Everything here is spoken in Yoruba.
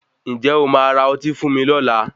Ǹjẹ̀ o máa ra ọtí fún mi lọla?